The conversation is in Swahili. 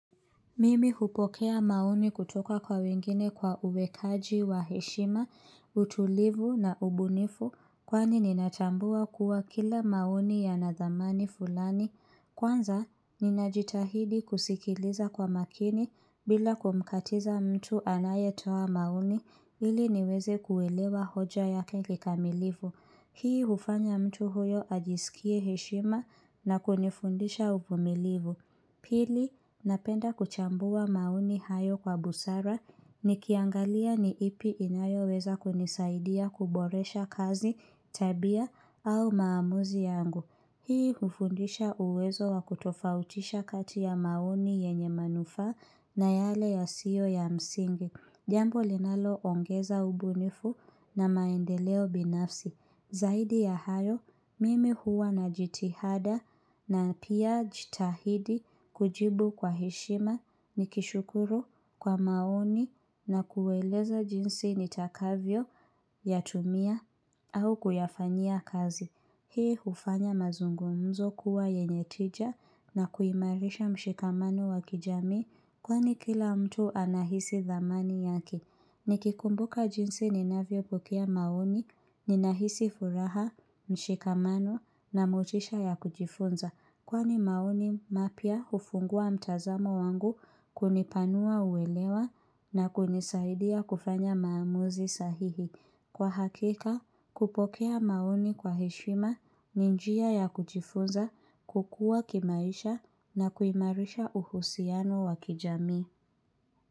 Mimi hupokea maoni kutoka kwa wengine kwa uwekaji wa heshima, utulivu na ubunifu kwani ninatambua kuwa kila maoni yana thamani fulani. Kwanza, ninajitahidi kusikiliza kwa makini bila kumkatiza mtu anayetoa maoni ili niweze kuelewa hoja yake kikamilivu. Hii ufanya mtu huyo ajisikie heshima na kunifundisha uvumilivu. Pili, napenda kuchambua maoni hayo kwa busara nikiangalia ni ipi inayoweza kunisaidia kuboresha kazi tabia au maamuzi yangu. Hii ufundisha uwezo wa kutofautisha kati ya maoni yenye manufa na yale yasiyo ya msingi. Jambo linaloongeza ubunifu na maendeleo binafsi. Zaidi ya hayo, mimi huwa na jitihada na pia jitahidi kujibu kwa heshima nikishukuru kwa maoni na kueleza jinsi nitakavyo yatumia au kuyafanyia kazi. Hii ufanya mazungumzo kuwa yenye tija na kuimarisha mshikamano wa kijami kwa ni kila mtu anahisi dhamani yake. Nikikumbuka jinsi ninavyopokea maoni, ninahisi furaha, mshikamano na motisha ya kujifunza. Kwani maoni mapya ufungua mtazamo wangu kunipanua uwelewa na kunisaidia kufanya maamuzi sahihi. Kwa hakika, kupokea maoni kwa heshima ni njia ya kujifunza, kukua kimaisha na kuimarisha uhusiano wa kijami.